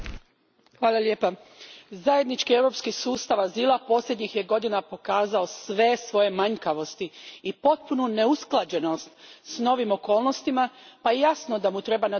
Gospodine predsjedniče, zajednički europski sustav azila posljednjih je godina pokazao sve svoje manjkavosti i potpunu neusklađenost s novim okolnostima pa je jasno da mu treba nadogradnja.